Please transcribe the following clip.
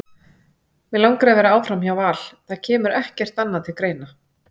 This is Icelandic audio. Mig langar að vera áfram hjá Val, það kemur ekkert annað til greina.